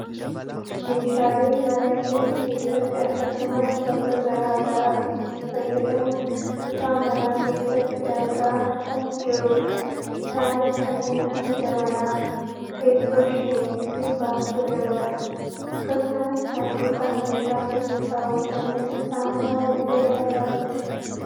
meeshaalee mana keenya keessatti akkasumas bakka gara garaatti itti fayyadamnu kutaa manaa keessatti argaa kan jirrudha, isaanis kanneen akka jabanaa, teessoo shinii fi baattoo jabanaati. akkasumas saanduqa meeshaa keessa kaawwataniifi saamunaa illee argaa jirra.